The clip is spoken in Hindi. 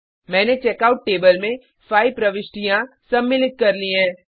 मैंने चेकआउट टेबल में 5 प्रविष्टियाँ सम्मिलित कर ली हैं